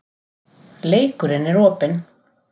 Leikurinn er opinn